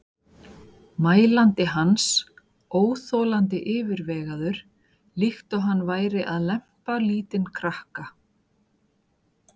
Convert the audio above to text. mælandi hans, óþolandi yfirvegaður, líkt og hann væri að lempa lítinn krakka.